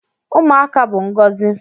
Ụmụaka bụ ngọzi